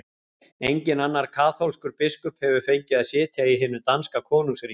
Enginn annar kaþólskur biskup hefur fengið að sitja í hinu danska konungsríki!